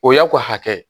O y'a ko hakɛ ye